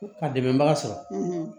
Ka dɛmɛbaga sɔrɔ